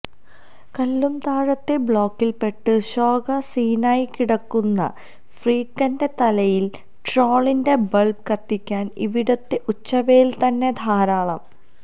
കല്ലുംതാഴത്തെ ബ്ലോക്കിൽപ്പെട്ട് ശോക സീനായിക്കിടക്കുന്ന ഫ്രീക്കന്റെ തലയിൽ ട്രോളിന്റെ ബൾബ് കത്തിക്കാൻ ഇവിടത്തെ ഉച്ചവെയിൽതന്നെ ധാരാളം